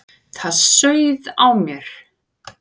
Það sauð á mér.